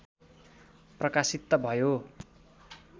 प्रकाशित त भयो